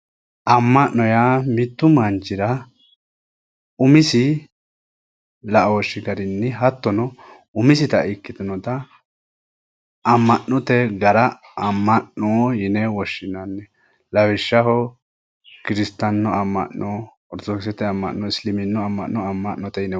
Amma'no yaa mittu manchira umisi la"ooshshi garinni hattono umisita ikkitinota amma'note gara amma'no yine woshshinanni lawishshaho kiristaanu amma'no orthodoxete amma'no hattono isiliminnu amma'no amma'note yine woshshinanni